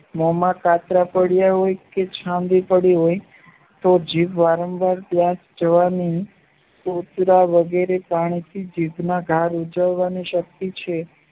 મોમાં કાતરા પડ્યા હોય કે ચાંદી પડી હોય તો જીભ વારંવાર ત્યાં જવાની જીભના ધાર ઉજવવાની શક્તિ છે